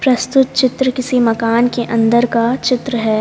प्रस्तुत चित्र किसी मकान के अंदर का चित्र है।